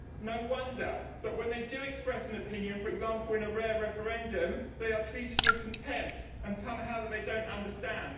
No wonder but when they do express an opinion, for example in a rare referendum, they are treated with contempt and told that somehow they do not understand.